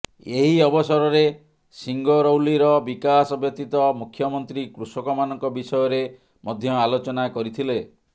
ଏହି ଅବସରରେ ସିଙ୍ଗରୌଲିର ବିକାଶ ବ୍ୟତୀତ ମୁଖ୍ୟମନ୍ତ୍ରୀ କୃଷକମାନଙ୍କ ବିଷୟରେ ମଧ୍ୟ ଆଲୋଚନା କରିଥିଲେ